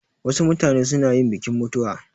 Wasu mutane suna yin bikin mutuwa